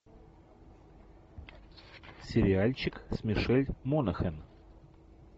сериальчик с мишель монахэн